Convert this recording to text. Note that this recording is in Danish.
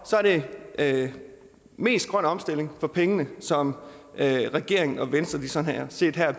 er det mest grøn omstilling for pengene som regeringen og venstre sådan set